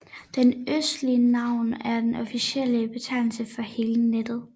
Den østlige navn er den officielle betegnelse for hele nettet